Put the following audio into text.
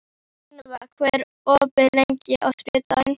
Sunniva, hvað er opið lengi á þriðjudaginn?